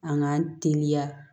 An k'an teliya